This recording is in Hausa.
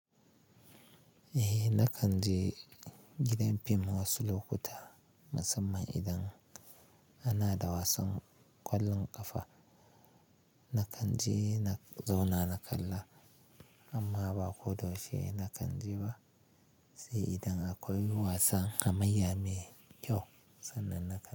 Eh na kanje gidan fim wasu lokuta musamman idan ana da wasan kwallon kafa. Na kanje na zauna na kalla amma ba ko da yaushe na kanje ba. Sai idan akwai wasan hamayya mai kyau sannan na kanje.